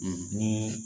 ni